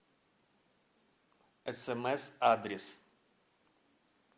смс адрес